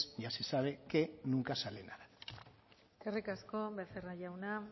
ya se sabe que nunca sale nada eskerik asko becerra jauna